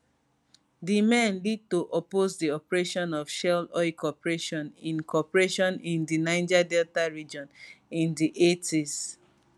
di men lead to oppose di operation of shell oil corporation in corporation in di niger delta region in di 80s